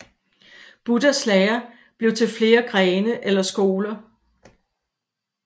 Buddhas lære blev til flere grene eller skoler